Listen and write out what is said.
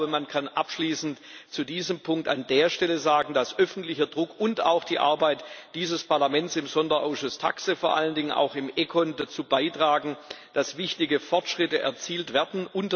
Ich glaube, man kann abschließend zu diesem Punkt an der Stelle sagen, dass öffentlicher Druck und auch die Arbeit dieses Parlaments im Sonderausschuss TAXE vor allen Dingen, auch im ECON Ausschuss dazu beitragen, dass wichtige Fortschritte erzielt werden.